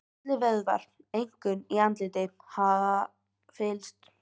Allir vöðvar, einkum í andliti, hafa fyllst.